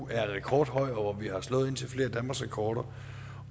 er rekordhøj og hvor vi har slået indtil flere danmarksrekorder